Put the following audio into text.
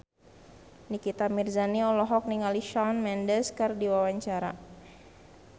Nikita Mirzani olohok ningali Shawn Mendes keur diwawancara